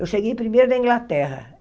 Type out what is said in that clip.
Eu cheguei primeiro na Inglaterra.